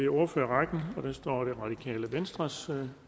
ordfører er venstres